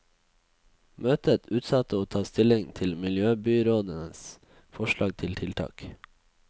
Møtet utsatte å ta stilling til miljøbyrådens forslag til tiltak.